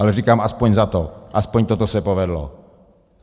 Ale říkám, alespoň za to, alespoň toto se povedlo.